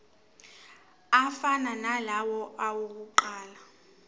afana nalawo awokuqala